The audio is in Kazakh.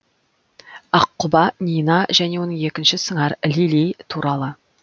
аққұба нина және оның екінші сыңары лили туралы